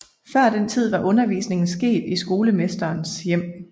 Før den tid var undervisningen sket i skolemesterens hjem